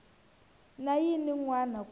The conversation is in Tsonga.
na yin wana ku ya